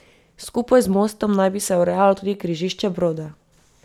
Skupaj z mostom naj bi se urejalo tudi križišče Brode.